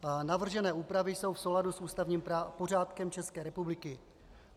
Navržené úpravy jsou v souladu s ústavním pořádkem České republiky.